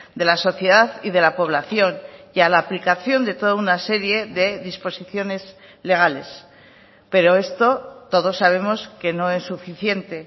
de la sociedad y de la población y a la aplicación de toda una serie de disposiciones legales pero esto todos sabemos que no es suficiente